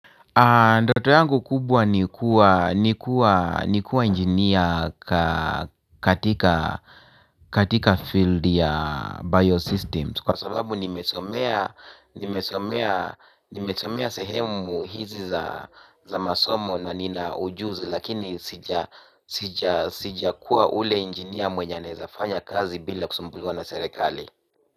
Ndoto yangu kubwa ni kuwa engineer katika field ya biosystems kwa sababu nimesomea nimesomea sehemu hizi za masomo na nina ujuzi lakini sijakuwa ule engineer mwenye anaeza fanya kazi bila kusumbuliwa na serikali.